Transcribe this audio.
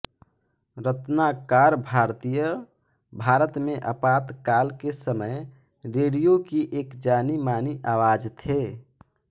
रत्नाकर भारतीय भारत में आपातकाल के समय रेडियो की एक जानी मानी आवाज़ थे